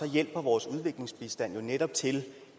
hjælper vores udviklingsbistand jo netop til